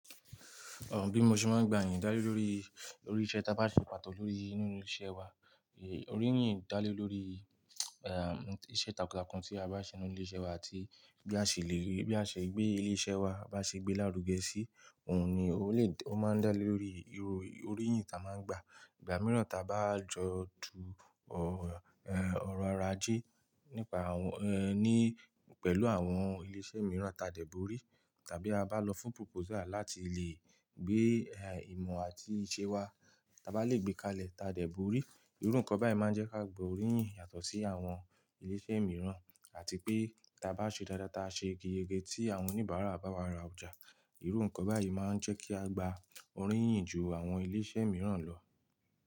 Ọ̀h, bí mo ṣe máa ń gba ìyin dálé lórí, lórí iṣẹ́ ta bá ṣe pàtó lórí inú ilé-iṣẹ́ wa, eh, oríyìn dá lé lórí, eh, iṣẹ́ takuntakun tí a bá ṣe nínú ilé-iṣẹ́ wa àti bí a ṣe lè rí, bí a ṣe gbé ilé-iṣẹ́ wa, bá ṣe gbé lárugẹ sí, òun ni ó lè, ó máa ń dá lé lórí iru, oríyìn ta máa ń gba. Ìgbà mìíràn ta bá jọ du ọ, eh, ọ̀rọ̀ aje nípa àwọn, eh, ní pẹ̀lú àwọn ilé-iṣẹ́ mìíràn ta dẹ̀ bori tàbí a bá lọ fún proposal láti lè gbé, eh, ìmọ̀ àti iṣẹ́ wa, ta bá lè gbé kalẹ̀ ta dẹ̀ bori. Ìrú nkán beyen máa ń jẹ́ ká gba oríyìn yàtọ̀ sí àwọn ilé-iṣẹ́ mìíràn àti pé ta bá ṣe dáadáa, ta ṣe yege tí àwọn oníbàárà bá wa ra ọjà, ìrú nkán báyìí máa ń jẹ́ kí a gba oríyìn ju àwọn ilé-iṣẹ́ mìíràn lọ.